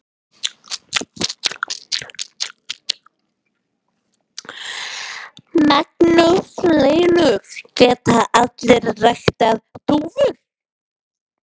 Magnús Hlynur: Geta allir ræktað dúfur?